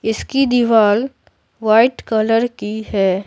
इसकी दीवाल white colour की है।